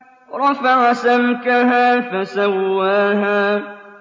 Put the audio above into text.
رَفَعَ سَمْكَهَا فَسَوَّاهَا